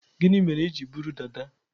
Gini mere iji buru dada?